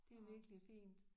Det er virkelig fint